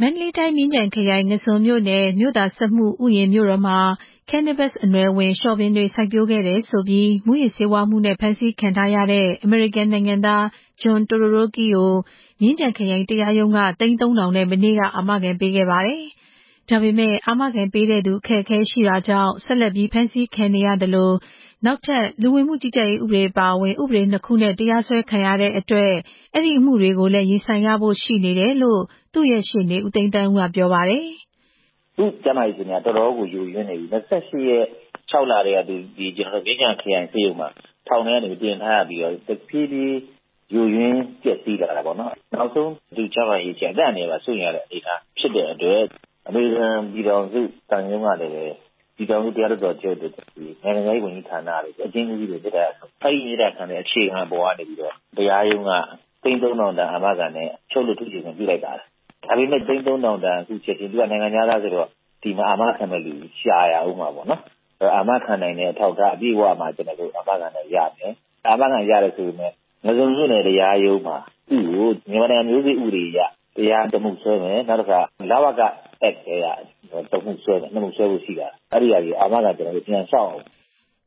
မန္တလေးတိုင်း မြင်းခြံခရိုင် ငါန်းဇွန်မြို့နယ် မြို့သာစက်မှုဥယျာဉ်မြို့တော်မှာ Cannabis အနွယ်ဝင် လျှော်ပင်တွေ စိုက်ပျိုးခဲ့တယ်ဆိုပြီး မူးယစ်ဆေးဝါးမှုနဲ့ ဖမ်းဆီးခံထားရတဲ့ အမေရိကန်နိုင်ငံသား John Todoroki ဂျွန်တိုဒိုရိုကီကို မြင်းခြံခရိုင်တရားရုံးက သိန်း ၃ဝဝဝ နဲ့ မနေ့က အာမခံပေးခဲ့ပါတယ်။ ဒါပေမယ့် အာမခံပေးတဲ့သူ အခက်အခဲရှိတာကြောင့် ဆက်လက်ဖမ်းဆီးခံနေရသလို နောက်ထပ် လူဝင်မှုကြီးကြပ်ရေးဥပဒေနဲ့ ထပ်ပြီးတရားစွဲခံရတဲ့အတွက် အဲဒီအမှုကိုလည်း ရင်ဆိုင်ရဖို့ရှိနေတယ်လို့ သူ့ရဲ့ ရှေ့နေ ဦးသိန်းသန်းဦးက ပြောပါတယ်။ “သူ့ကျန်းမာရေးအခြေအနေက တော်တော်ယိုယွင်းနေတယ်။၂၈ ရက် ၆ လပိုင်းထဲက ထောင်ထဲကနေ မြင်းခြံခရိုင်ဆေးရုံမှာတင်ထားရပြီး တဖြည်းဖြည်းယိုယွင်းပျက်စီးလာတာပေါ့နော်။ နောက်ဆုံး ကျန်းမာရေးအခြေအနေက အသက်အန္တရာယ်ပါစိုးရိမ်ရလို့ အမေရိကန်သံရုံးကနေ ပြည်ထောင်စုတရားလွှတ်တော်ချုပ်တို့ နိုင်ငံခြားရေးဝန်ကြီးဌာနတို့ အကျဉ်းဦးစီးတို့ကို မေတ္တာရပ်ခံခဲ့တယ်။ အဲဒီမေတ္တာရပ်ခံချက်အပေါ်အခြေခံပြီး တရားရုံးက သိန်း ၃ဝဝဝ တန် အာမခံနဲ့ အချုပ်လွတ် ထုချေခွင့်ပြုလိုက်တယ်။ ဒါပေမယ့် သိန်း ၃ဝဝဝ က ချက်ခြင်း သူကနိုင်ငံခြားသားဆိုတော့ အာမခံတဲ့သူရှာရမှာပေါ့နော်။ အာမခံနိုင်တဲ့ အထောက်အထားပြည့်စုံမှာ ကျနော်တို့အာမခံရမယ်။ အာမခံရတယ်ဆိုပေမဲ့လည်း သူ့ကို ငါးဇွန်မြို့နယ်တရားရုံးမှာ မြန်မာနိုင်ငံမျိုးစေ့ဥပဒေအရ တရားစွဲတာတခုရယ် နောက် လ.ဝ.က အက်နဲ့ တမှုရယ်- ၂ မှုစွဲဖို့ရှိတယ်။ အဲဒါတွေအတွက်လဲ အာမခံပြန်လျှောက်ရမယ်”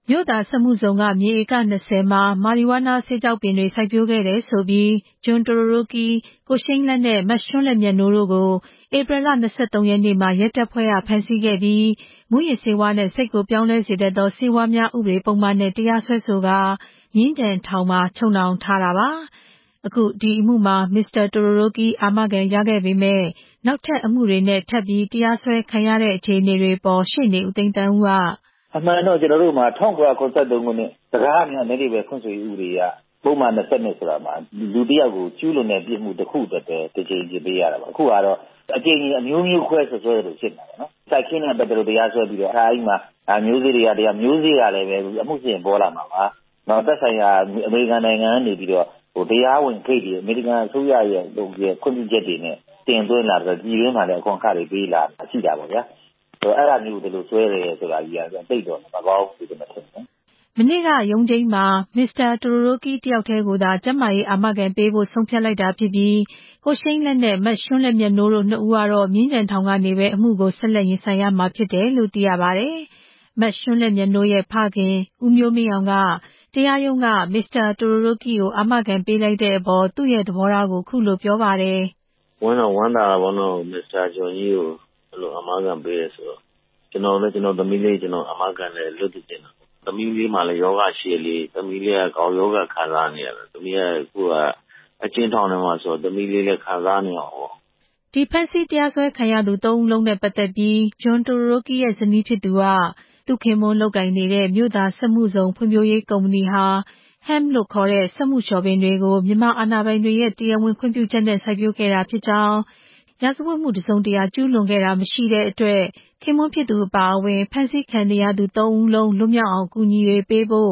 မြို့သာစက်မှုဇုန်က မြေဧက ၂ဝ မှာ Marijuana ဆေးခြောက်ပင်တွေ စိုက်ပျိုးခဲ့တယ်ဆိုပြီး ဂျွန်တိုဒိုရိုကီ၊ ကိုရှိန်းလတ်နဲ့ မရွှန်းလဲ့မြတ်နိုးတို့ကို ဧပြီ ၂၃ ရက်နေ့မှာ ရဲတပ်ဖွဲ့က ဖမ်းဆီးခဲ့ပြီး မူးယစ်ဆေးဝါးနဲ့ စိတ်ကိုပြောင်းလဲစေတတ်သော ဆေးဝါးများဆိုင်ရာ ဥပဒေပုဒ်မနဲ့ တရားစွဲဆိုကာ မြင်းခြံထောင်မှာ ချုပ်နှောင်ထားတာပါ။ အခု ဒီအမှုမှာ မစ္စတာတိုဒိုရိုကီ အာမခံရခဲ့ပေမယ့် နောက်ထပ်အမှုတွေနဲ့ထပ်ပြီး တရားစွဲခံနေရတာနဲ့ ပတ်သက်ပြီး ရှေ့နေဦးသိန်းသန်းဦးက… “အမှန်က ၁၉၇၃ ခုနှစ် ပုဒ်မ ၂၂ မှာ လူတယောက်ကို သူကျူးလွန်တဲ့ ပြစ်မှုတခုအတွက်ပဲ တကြိမ်အပြစ်ပေးရတာ ခုဟာက အကြိမ်ကြိမ် အမျိုးမျိုးခွဲ အပြစ်ပေးသလိုဖြစ်နေတာပေါ့။ စိုက်ခင်းနဲ့ပတ်သက်လို့ တရားစွဲတာ မျိုးစေ့ကိစ္စကလည်း အမှုစစ်ရင်ပေါ်လာမှာပါ။ သက်ဆိုင်ရာ အမေရိကန်နိုင်ငံကနေပြီးတော့ တရားဝင်ဂိတ်တွေ အမေရိကန်အစိုးရရဲ့ခွင့်ပြုချက်တွေနဲ့ တင်သွင်းတာ ပြည်တွင်းမှာလည်း အခွန်အခတွေပေးတာရှိတယ်။ အဲဒါမျိုးကို ဒီလိုစွဲတယ်ဆိုတော့ သိပ်မကောင်းဘူးထင်တယ်” မနေ့က ရုံးချိန်းမှာ ဂျွန်တိုဒိုရိုကီတစ်ယောက်ထဲကိုသာ ကျန်းမာရေး အာမခံပေးဖို့ ဆုံးဖြတ်လိုက်တာဖြစ်ပြီး ကိုရှိန်းလတ်နဲ့ မရွှန်းလဲ့မြတ်နိုးတို့ နှစ်ဦးကတော့ မြင်းခြံထောင်ကနေပဲ အမှုကို ဆက်လက်ရင်ဆိုင်ရမှာဖြစ်တယ်လို့ သိရပါတယ်။ မရွှန်းလဲ့မြတ်နိုးရဲ့ ဖခင် ဦးမျိုးမင်းအောင်က တရားရုံးက မစ္စတာတိုဒိုရိုကီကို အာမခံပေးလိုက်တဲ့အပေါ် သူ့ရဲ့သဘောထားကိုခုလိုပြောပါတယ်။ “ မစ္စတာဂျွန်ကို အာမခံပေးတာ ကျနော်ဝမ်းသာပါတယ်။ ကျနော့်သမီးလေးကိုလည်း အဲလို အာမခံနဲ့ လွတ်စေချင်တယ်။ သမီးလေးမှာလည်း ရောဂါရှိတယ်လေ။ သမီးလေးက ဂေါက်ရောဂါခံစားနေရတာ အခုအကျဉ်းထောင်ထဲမှာဆိုတော့ သမီးလေးခံစားနေရမှာပေါ့” ဒီဖမ်းဆီးတရားစွဲခံရသူ သုံးဦးလုံးနဲ့ပတ်သက်ပြီး ဂျွန် တိုဒိုရိုကီ ရဲ့ ဇနီးဖြစ်သူက မြန်မာအစိုးရ နဲ့ အမေရိကန်အစိုးရခေါင်းဆောင်တွေထံ ဇွန်လ ၁၂ ရက်နေ့စွဲက မေတ္တာရပ်ခံစာတွေ ပေးပို့ခဲ့တယ်လို့ဆိုပါတယ်။ သူ့ခင်ပွန်းလုပ်ကိုင်နေတဲ့ မြို့သာစက်မှုဇုန်ဖွံ့ဖြိုးရေးကုမ္ပဏီဟာ Hemp စက်မှုလျှော်ပင်တွေကို မြန်မာအာဏာပိုင်တွေရဲ့ တရားဝင်ခွင့်ပြုချက်နဲ့ စိုက်ပျိုးခဲ့တာဖြစ်ကြောင်း၊ ရာဇဝတ်မှု တစုံတရာ ကျူးလွန်ခဲ့တာမရှိတဲ့အတွက် ခင်ပွန်းဖြစ်သူအပါအဝင် ဖမ်းဆီးခံနေရတဲ့ မြန်မာ အလုပ်သမား နှစ်ဦး တို့ကိုလည်း လွတ်မြောက်အောင် အကူအညီပေးဖို့